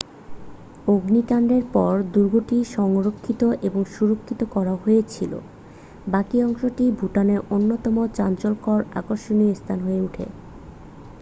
অগ্নিকাণ্ডের পর দুর্গটি সংরক্ষিত এবং সুরক্ষিত করা হয়েছিল বাকি অংশটা ভুটানের অন্যতম চাঞ্চল্যকর আকর্ষণীয় স্থান হয়ে ওঠে